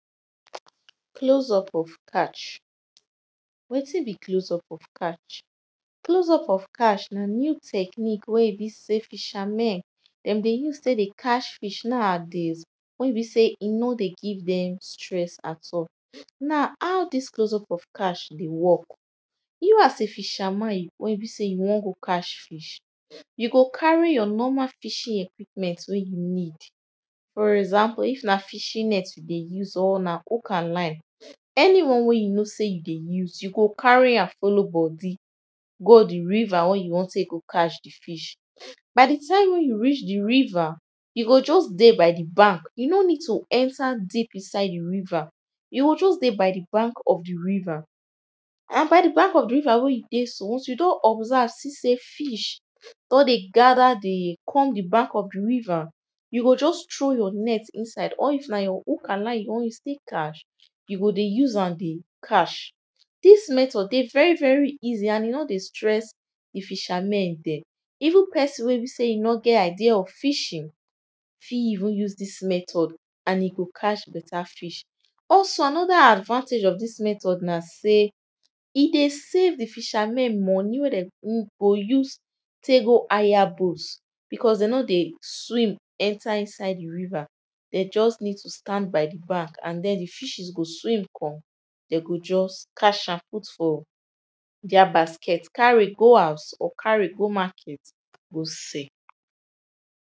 Close up of catch. Wetin be close up of catch? Close up of catch na new technique wey e be say fishermen dem dey use tek dey catch fish now adays, wen be sey e no dey give dem stress at all. Now how dis close up of catch dey work, you as a fisherman wen be sey you won go catch fish you go carry your normal fishing equipment wen you need. For example, if na fishing net you dey use or na hook and line. Anyone wey you know sey you dey use, you go carry am follow body go di river wen you won tek go catch fish. By di time wen you reach di river, you go just dey by di bank you no need to enter deep inside di river, you go just by di bank of di river and by di bank of di river wey you dey so, once you don observe see sey fish don dey gather di come di bank of di river you go just throw your net inside or if na your hook and line you won use tek catch, you go dey use am dey catch. Dis method dey very very easy and e no dey stress di fishermen den. Even person wey be sey e no get idea of fishing fit even use dis method and e go catch better fish. Also, another advantage of dis method na sey e dey save di fishermen money wey dem go use tek go hire boat becos dem no dey swim enter inside di river, dey just need to stand by di bank and den di fishers go swim come dey go just catch am put for deir basket carry go house or carry go market go sell.